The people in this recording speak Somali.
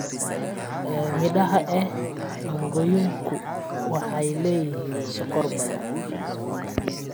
Midhaha ee mangooyinku waxay leeyihiin sokor badan.